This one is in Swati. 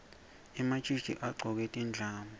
ematjitji agcoke tindlamu